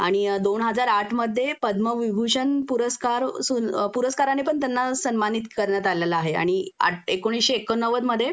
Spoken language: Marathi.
आणि दोन हजार आठ मध्ये पदमविभूषण पुरस्कार सु पुरस्काराने पण त्यांना सन्मानित करण्यात आलेलं आहे आणि एकोणीशे एक्कोनव्वद मध्ये